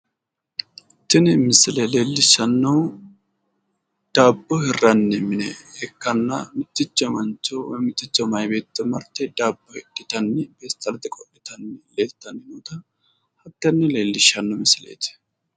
Tin misile leelishanohu daabo hirani mine ikana miticho mancho woy miticho mayi beeto marte daabo hidhitani pestalete qolitana addintani leelishano misileti